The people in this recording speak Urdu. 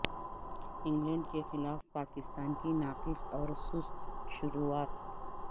انگلینڈ کے خلاف پاکستان کی ناقص اور سست شروعات